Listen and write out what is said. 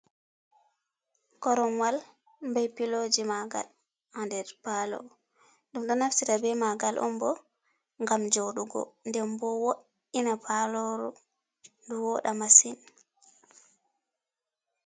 Koronwal bai piloji magal ha nder palo, ɗum ɗo naftira be magal on bo ngam joɗugo, nden voiina paloro ndu woɗa masin.